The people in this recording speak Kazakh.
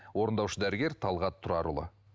орындаушы дәрігер талғат тұрарұлы